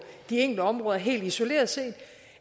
de enkelte områder helt isoleret